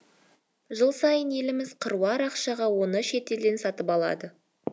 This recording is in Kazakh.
жыл сайын еліміз қыруар ақшаға оны шетелден сатып алады